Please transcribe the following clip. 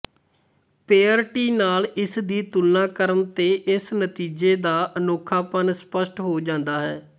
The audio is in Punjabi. ਪੇਅਰਟੀ ਨਾਲ ਇਸਦੀ ਤੁਲਨਾ ਕਰਨ ਤੇ ਇਸ ਨਤੀਜੇ ਦਾ ਅਨੋਖਾਪਣ ਸਪੱਸ਼ਟ ਹੋ ਜਾਂਦਾ ਹੈ